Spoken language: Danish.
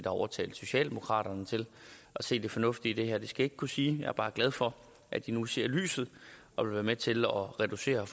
overtalt socialdemokraterne til at se det fornuftige i det her det skal jeg ikke kunne sige jeg er bare glad for at de nu ser lyset og vil være med til at reducere